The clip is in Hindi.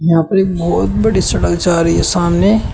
यहां पर एक बहोत बड़ी सड़क जा रही है सामने।